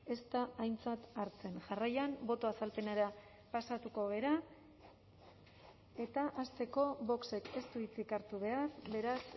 ez da aintzat hartzen jarraian boto azalpenera pasatuko gara eta hasteko vox ek ez du hitzik hartu behar beraz